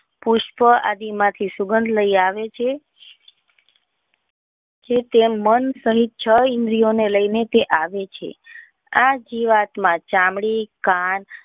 પુષ્પ આદિ માંથી સુગંધ લઇ આવે છે જે તે મન સહીત છ ઈન્દ્રીઓ ને લઇ ને તે આવે છે આ જીવાત માં ચામડી કાન.